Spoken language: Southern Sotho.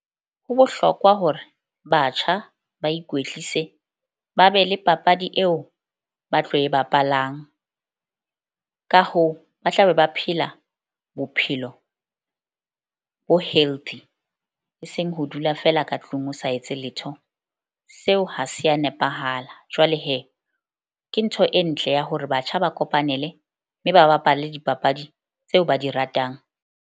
Ho bohlokwa hore batjha ba ikwetlise, ba be le papadi eo ba tlo e bapalang, ka hoo, ba tla be ba phela bophelo bo healthy. Eseng ho dula feela ka tlung o sa etse letho. Seo ha se ya nepahala. Jwale ke ntho e ntle ya hore batjha ba kopanele mme ba bapale dipapadi tseo ba di ratang.